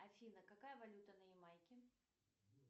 афина какая валюта на ямайке